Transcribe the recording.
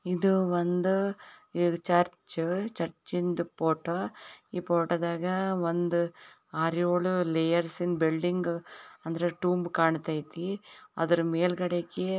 ಇದು ಒಂದು ಚರ್ಚ್ ಚರ್ಚ್ಯಿಂದು ಫೋಟೋ ಈ ಫೋಟೋದಾಗ ಒಂದು ಆರು ಏಳು ಲೆಯರ್ಸ್ ಇಂದು ಬಿಲ್ಡಿಂಗ್ ಅಂದ್ರೆ ತೂಂಬ್ ಕಣ್ಣತಾಯತಿ ಆದ್ರ ಮೇಲ್ಗಡಿಕ್ಕೆ--